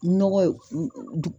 Nɔgɔ ye